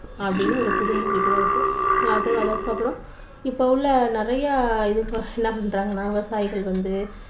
அப்படின்னு ஒரு புது மொழி கூட இருக்கு. அதற்கு அப்புறம் இப்போ உள்ள நிறைய என்ன பண்றாங்கன்னா விவசாயிகள் வந்து